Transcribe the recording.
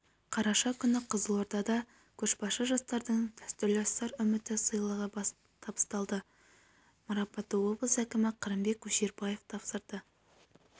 қараша күні қызылордада көшбасшы жастардың дәстүрлі сыр үміті сыйлығы табысталды марапатты облыс әкімі қырымбек көшербаев тапсырды